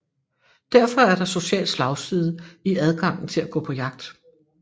Derfor er der social slagside i adgangen til at gå på jagt